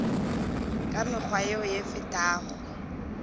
ka mekgwa yeo e fetago